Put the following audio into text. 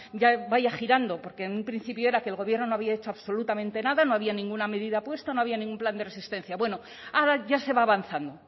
ya vaya girando porque en un principio era que el gobierno no había hecho absolutamente nada no había ninguna medida puesta no había ningún plan de resistencia bueno ahora ya se va avanzando